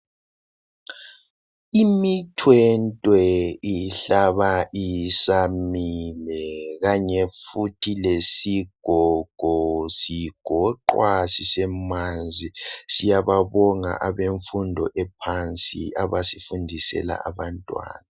Imithwentwe ihlaba isamile kanye futhi lesigogo sigoqwa sisemanzi. Siyababonga ebemfundo ephansi abasifundisela abantwana .